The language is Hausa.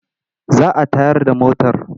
Za ta tayar da motar.